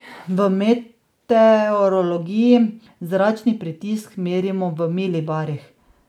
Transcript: V meteorologiji zračni pritisk merimo v milibarih.